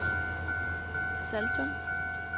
Saltum